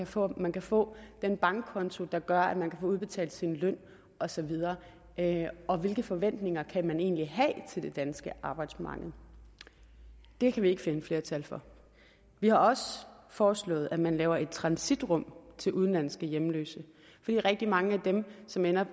for at man kan få den bankkonto der gør at man kan få udbetalt sin løn og så videre og hvilke forventninger kan man egentlig have til det danske arbejdsmarked det kan vi ikke finde flertal for vi har også foreslået at man laver et transitrum til udenlandske hjemløse fordi rigtig mange af dem som ender